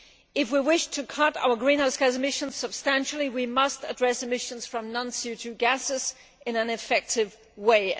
If we wish to cut our greenhouse gas emissions substantially, we must address emissions from non CO 2 gases in an effective way.